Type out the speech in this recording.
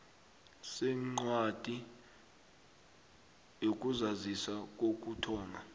sencwadi yokuzazisa kokuthoma